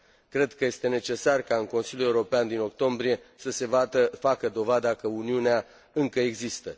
Cred că este necesar ca în Consiliul European din octombrie să se facă dovada că Uniunea încă există.